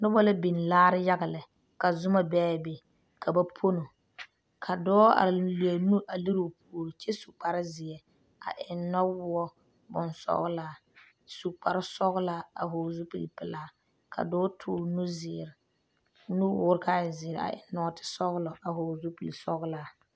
Noba la biŋ laare yaga lɛɛ, ka Zuma be a be ka ba ponno, ka dɔɔ are a leri o nuuri o puori kyɛ su kpar zeɛ a eŋ nɔwɔɔ bonsɔglaa a su kparre sɔglaa a vɔgeli zupile pelaa ka dɔɔ nuwɔɔre kaa e zeɛ a eŋ nɔɔtɛɛ nɔɔte sɔglɔ a vɔgeli zupili sɔglaa.